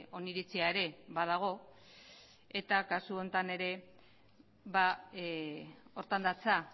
oniritzia ere badago eta kasu honetan ere horretan datza